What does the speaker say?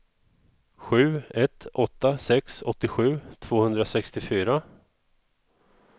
sju ett åtta sex åttiosju tvåhundrasextiofyra